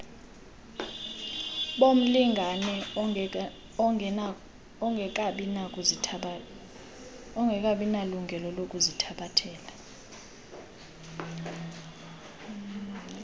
bomlingane ongekabinalungelo lokuzithabathela